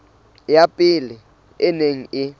ya pele e neng e